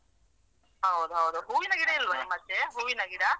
ಹೌದು ಹೌದು ಹೂವಿನ ಗಿಡ ನಿಮ್ಮಾಚೆ ಹೂವಿನ ಗಿಡ?